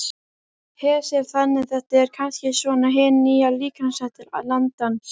Hersir: Þannig þetta er kannski svona hin nýja líkamsrækt landans?